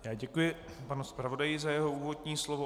Já děkuji panu zpravodaji za jeho úvodní slovo.